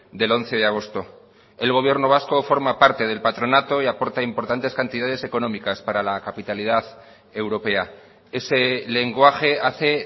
del once de agosto el gobierno vasco forma parte del patronato y aporta importantes cantidades económicas para la capitalidad europea ese lenguaje hace